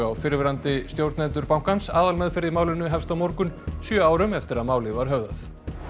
fyrrverandi stjórnendur bankans aðalmeðferð í málinu hefst á morgun sjö árum eftir að málið var höfðað